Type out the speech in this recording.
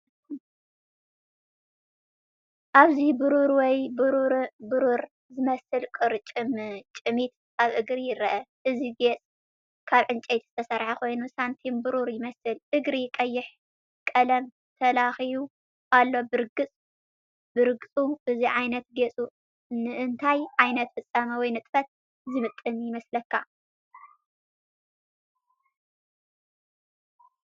ኣብዚ ብሩር ወይ ብሩር ዝመስል ቁርጭምጭሚት ኣብ እግሪ ይርአ። እዚ ጌጽ ካብ ዕንጨይቲ ዝተሰርሐ ኮይኑ ሳንቲም ብሩር ይመስል። እግሪ ቀይሕ ቀለም ተለኺዩ ኣሎ ብርግጽ። እዚ ዓይነት ጌጽ ንእንታይ ዓይነት ፍጻመ ወይ ንጥፈት ዝምጥን ይመስለካ?